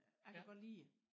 Jeg kan godt lide det